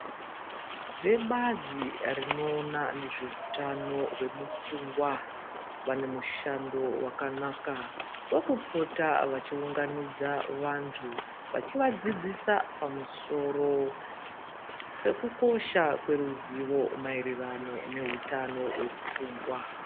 Vebazi rinoona nezveutano hwemupfungwa vane mushando wakanaka vakupota vachiunganidza vanthu vachivadzidzisa pamusoro pekukosha kweruzivo maererano nehutano hwemupfungwa.